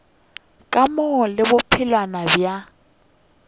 ka mo le bophelwana bja